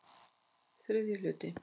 III hluti